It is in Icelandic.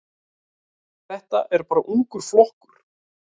Þetta er bara ungur flokkur.